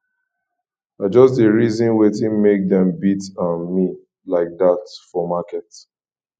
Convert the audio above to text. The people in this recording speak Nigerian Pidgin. i just dey reason wetin make dem beat um me like dat for market